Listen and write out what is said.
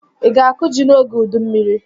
Ị ga-akụ ji n'oge udu mmiri?